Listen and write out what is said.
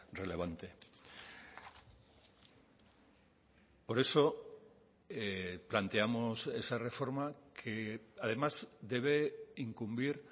relevante por eso planteamos esa reforma que además debe incumbir